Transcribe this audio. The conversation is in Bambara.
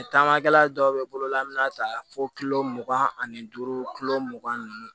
Taamakɛla dɔw bɛ bolo an bɛna taa fo mugan ani duuru mugan ni duuru